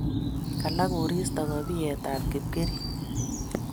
Kalaa koristo kopiet ap Kipkering'.